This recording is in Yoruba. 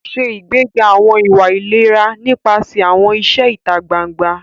Ṣe ìgbéga àwọn ìwà ìlera nípasẹ̀ àwọn iṣẹ́ ìta gbangba.